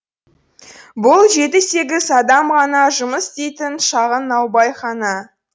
бұл жеті сегіз адам ғана жұмыс істейтін шағын наубайхана